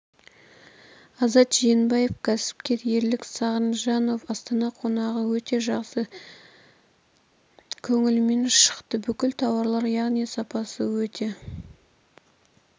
азат жиенбаев кәсіпкер ерлік сағжанов астана қонағы өте жақсы көңілімнен шықты бүкіл тауарлар яғни сапасы өте